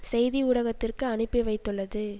செய்தி ஊடகத்திற்கு அனுப்பிவைத்துள்ளது